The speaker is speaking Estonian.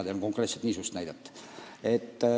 Mina tean konkreetselt niisugust näidet.